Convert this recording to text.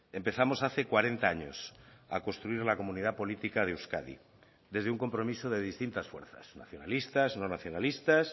empezamos hace cuarenta años a construir la comunidad política de euskadi desde un compromiso de distintas fuerzas nacionalistas no nacionalistas